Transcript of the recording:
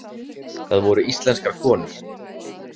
Það voru íslenskar konur.